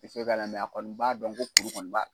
Tɛ se ka na a kɔni b'a dɔn ko kuru kɔni b'a